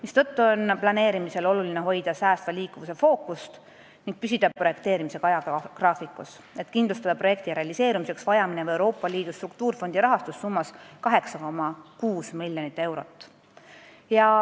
Seetõttu on planeerimisel oluline hoida fookust säästval liikuvusel ning püsida projekteerimisega ajagraafikus, et kindlustada projekti realiseerumiseks vaja minev Euroopa Liidu struktuurifondi rahastus summas 8,6 miljonit eurot.